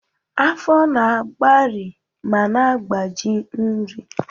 Afọ na-agbari ma na-agbaji nri.